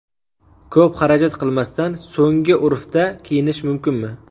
Ko‘p xarajat qilmasdan so‘nggi urfda kiyinish mumkinmi?.